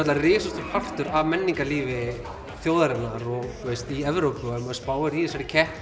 risastór partur af menningarlífi þjóðarinnar og þú veist í Evrópu og ef maður spáir í þessari keppni